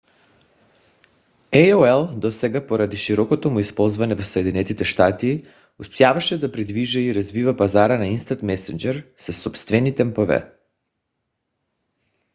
aol досега поради широкото му използване в съединените щати успяваше да придвижва и развива пазара на instant messenger im със собствени темпове